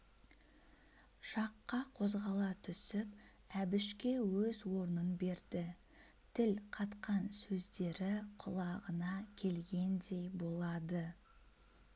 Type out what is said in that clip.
жаққа қозғала түсіп әбішке өз орнын берді тіл қатқан сөздері құлағына келгендей болады